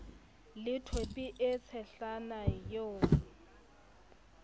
le thope e tshehlana eo